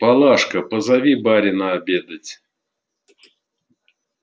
палашка позови барина обедать